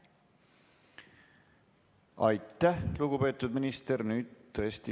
Aitäh, lugupeetud minister!